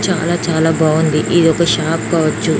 చాల చాల బాగుంది. ఇదొక షాప్ క్వావుచు.